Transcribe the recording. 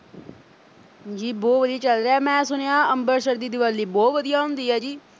ਜੀ ਬਹੁਤ ਵਧੀਆ ਚੱਲ ਰਿਹਾ ਮੈਂ ਸੁਣਿਆਂ ਅੰਮ੍ਰਿਤਸਰ ਦੀ ਦੀਵਾਲੀ ਬਹੁਤ ਵਧੀਆ ਹੁੰਦੀ ਐ ਜੀ।